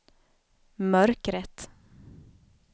mörkret